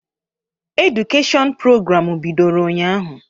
Edụkeshịọn prograamụ bidoro ụnyahụ.